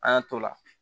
An y'an t'o la